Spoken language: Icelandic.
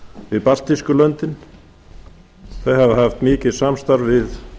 við baltísku löndin þau hafa haft mikið samstarf við